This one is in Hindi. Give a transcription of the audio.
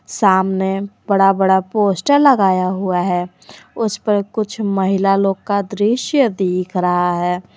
सामने बड़ा बड़ा पोस्टर लगाया हुआ है उस पर कुछ महिला लोग का दृश्य दिख रहा है।